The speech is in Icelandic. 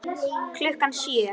Klukkan sjö.